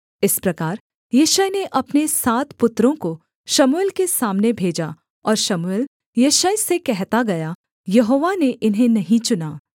इस प्रकार यिशै ने अपने सात पुत्रों को शमूएल के सामने भेजा और शमूएल यिशै से कहता गया यहोवा ने इन्हें नहीं चुना